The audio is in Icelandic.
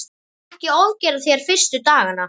Ekki ofgera þér fyrstu dagana.